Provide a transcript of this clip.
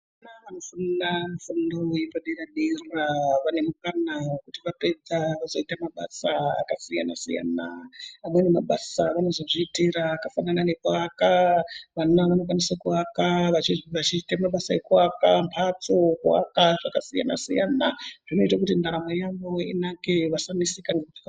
Vana vanofunda mufundo wepadera-dera vane mukana wekuti vapedza vazoita mabasa akasiyana-siyana. Amweni mabasa avanozozviitira akafanana nekuaka. Vana vanokwanisa kuvaka, vachiite mabasa ekuaka mhatso, kuaka zvakasiyana-siyana, zvinoite kuti ndaramo yavo inake vasaneseka....